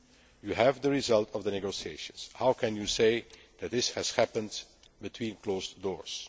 You have the result of the negotiations. How can you say that this has happened behind closed doors?